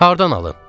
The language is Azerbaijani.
Hardan alım?